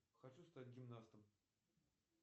хочу стать гимнастом